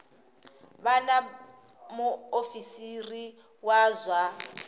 vha na muofisiri wa zwa